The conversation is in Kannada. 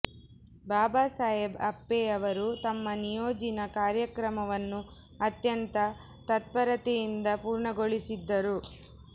ಬಾಬಾ ಸಾಹೇಬ್ ಆಪ್ಪೆಯವರು ತಮ್ಮ ನಿಯೋಜಿನ ಕಾರ್ಯಕ್ರಮವನ್ನು ಅತ್ಯಂತ ತತ್ಪರತೆಯಿಂದ ಪೂರ್ಣ ಗೊಳೀಸುತ್ತಿದ್ದರು